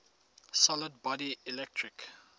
solid body electric